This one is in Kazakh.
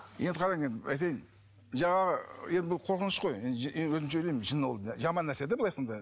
енді қараңыз енді айтайын жаңағы енді бұл қорқыныш қой енді енді өзімше ойлаймын жын ол жаман нәрсе де былай айтқанда